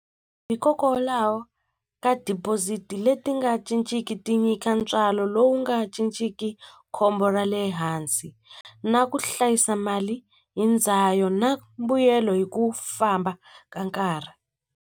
Hikokwalaho ka deposit leti nga cinciki ti nyika ntswalo lowu nga cinciki khombo ra le hansi na ku hlayisa mali hi ndzayo na mbuyelo hi ku famba ka nkarhi.